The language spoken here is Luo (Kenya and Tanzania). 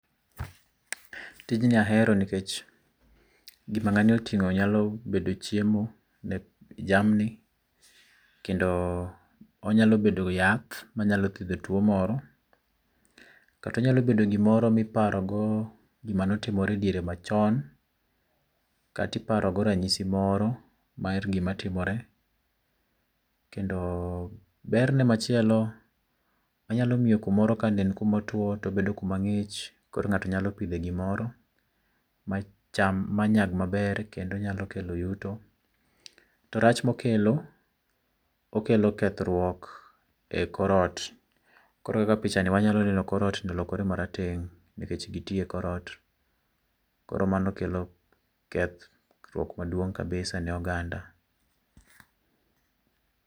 tijni ahero nikech, gima ng'ani oting'o nyalo bedo chiemo ne jamni, kendo, onyalo bedo yath manyalo thiedho tuo moro. Kata onyalo bedo gimoro miparogo gima notimore e diere machon, kata iparo go ranyisi moro mar gima timore. Kendoo berne machielo, manyalo miyo kumoro kane en kumotuo tobedo kuma mang'ich koro ng'ato nyalo pidhe gimoro macham manyag maber kendo nyalo kelo yuto. To rach mokelo, okelo lokruok e kor ot. Koro kaka pichani wanyalo neno or ot olokre marateng' nikech gitii e kor ot, koro mano kelo keth ruok maduong' kabisa ne oganda